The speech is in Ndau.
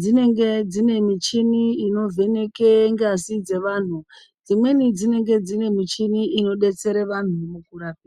dzinenge dzine michini inovheneke ngazi dzevanhu, dzimweni dzinenge dzine michini inodetsere vanhu mukurarama.